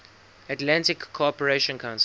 atlantic cooperation council